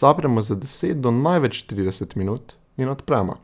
zapremo za deset do največ trideset minut in odpremo.